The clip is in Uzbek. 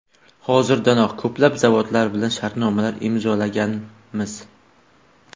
Hozirdanoq ko‘plab zavodlar bilan shartnomalar imzolaganmiz.